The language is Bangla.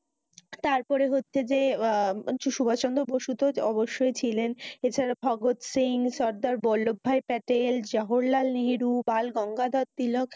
তারপরে হচ্ছে যে, সুভাষ চন্দ্র বসু তো অব্যশই ছিলেন। এছাড়া প্রহদ সিং, কিং সাদ্দার, বল্লব ভাই পেটেল, জহল লাল নেহেরু, গাল গঙ্গা দর তিলক,